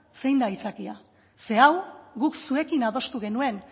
zein da aitzakia zeren hau guk zuekin adostu genuen